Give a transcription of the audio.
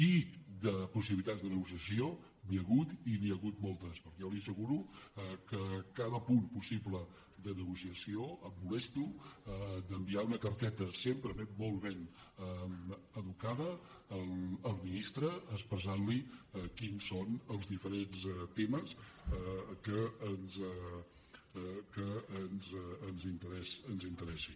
i de possibilitats de negociació n’hi ha hagut i n’hi ha hagut moltes perquè jo li asseguro que a cada punt possible de negociació em molesto d’enviar una carteta sempre molt ben educada al ministre en què li expresso quins són els diferents temes que ens interessen